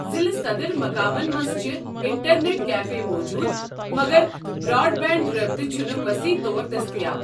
ضِلع صدر مقامن منٛز چھِ انٹرنیٹ كیفے موجوٗد ، مگر براڈ بینڈ رٲبطہٕ چھُنہٕ وصیح طور دٔستِیاب ۔